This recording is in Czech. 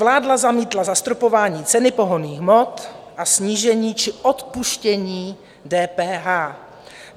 Vláda zamítla zastropování ceny pohonných hmot a snížení či odpuštění DPH.